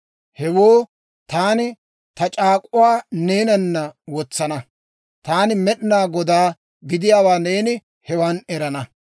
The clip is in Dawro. Hewoo taani ta c'aak'uwaa neenana wotsana. Taani Med'inaa Godaa gidiyaawaa neeni hewan erana.